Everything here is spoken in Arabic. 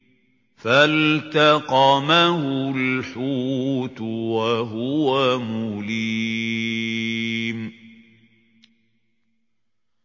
فَالْتَقَمَهُ الْحُوتُ وَهُوَ مُلِيمٌ